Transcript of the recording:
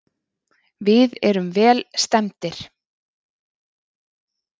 Við erum vel stemmdir.